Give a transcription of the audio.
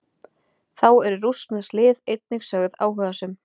Þá eru rússnesk lið einnig sögð áhugasöm.